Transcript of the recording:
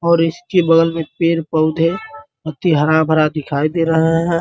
और इसके बगल में पेड़-पौधे पत्ती हरा-भरा दिखाई दे रहा है।